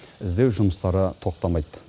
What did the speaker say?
іздеу жұмыстары тоқтамайды